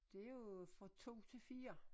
Det jo fra 2 til 4